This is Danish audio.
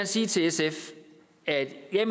sige til sf at jeg